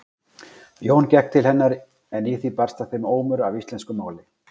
Jón gekk til hennar en í því barst að þeim ómur af íslensku máli.